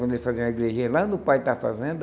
Quando eles faziam a igrejinha lá no pai da fazenda,